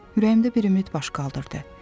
Ürəyimdə bir ümid baş qaldırdı.